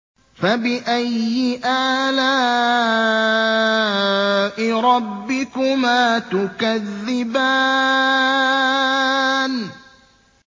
فَبِأَيِّ آلَاءِ رَبِّكُمَا تُكَذِّبَانِ